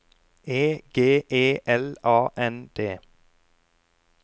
E G E L A N D